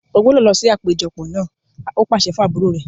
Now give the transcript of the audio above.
O gbúdọ̀ lọ sí àpéjọ náà! ó pàṣẹ fún àbúrò rẹ̀.